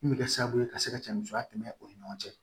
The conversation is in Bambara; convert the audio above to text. Min bɛ kɛ sababu ye ka se ka cɛ musoya tɛmɛ o ni ɲɔgɔn cɛ